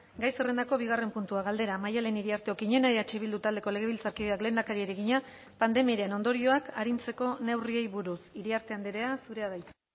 gai zerrendako bigarren puntua galdera maddalen iriarte okiñena eh bildu taldeko legebiltzarkideak lehendakariari egina pandemiaren ondorioak arintzeko neurriei buruz iriarte andrea zurea da hitza